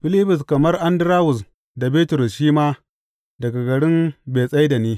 Filibus, kamar Andarawus da Bitrus shi ma daga garin Betsaida ne.